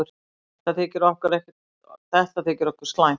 Þetta þykir okkur slæmt.